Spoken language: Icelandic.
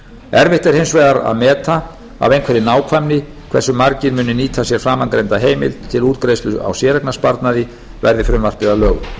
erfitt er hins vegar að meta af einhverri nákvæmni hversu margir muni nýta sér framangreinda heimild til útgreiðslu á séreignarsparnaði verði frumvarpið að lögum þess ber